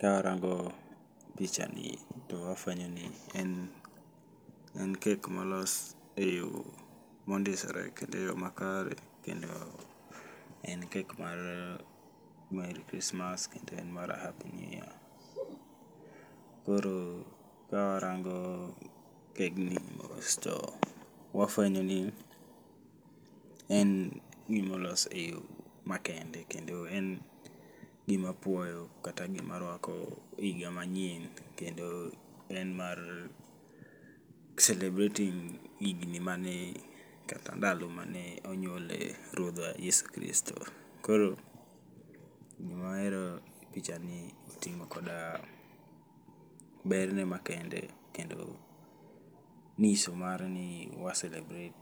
Ka arango picha ni to afwenyo ni en, en kek molos e yo mondisore kendo e yo makare. Kendo en kek mar Merry Christmas kendo en mar Happy New Year. Koro ka warango kegni mos to wafwenyo ni en gimolos e yo ma kende kendo en gima puoyo kata gima rwako higa manyien. Kendo en mar celebrating higni mane kata ndalo mane onyuole Ruodhwa Yesu Kristo. Koro gima ahero e picha ni oting'o koda berne ma kende kendo ng'iso mare ni wa selebret